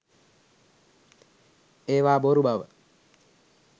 ඒවා බොරු බව